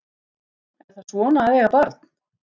Er það svona að eiga barn?